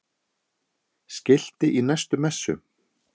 Skilti í næstu messu?